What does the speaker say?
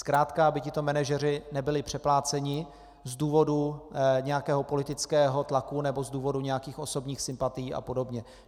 Zkrátka aby tito manažeři nebyli přepláceni z důvodu nějakého politického tlaku nebo z důvodu nějakých osobních sympatií a podobně.